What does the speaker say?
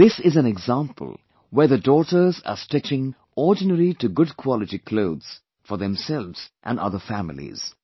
This is an example where the daughters are stitching ordinary to good quality clothes for themselves and other families